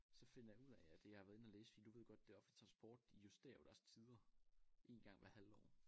Så finder jeg ud af at jeg har været inde og læse fordi du ved godt det offentlige transport de justerer jo deres tider én gang hver halve år